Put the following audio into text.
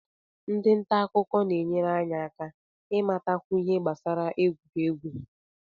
Ndị nta akụkọ na-enyere anyị aka ịmatakwu ihe gbasara egwuregwu